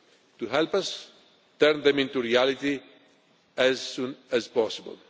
on you to help us turn them into reality as soon as